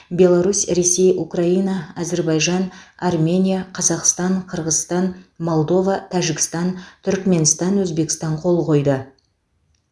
беларусь ресей украина әзербайжан армения қазақстан қырғызстан молдова тәжікстан түрікменстан өзбекстан қол қойды